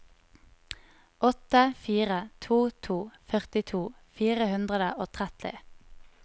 åtte fire to to førtito fire hundre og tretti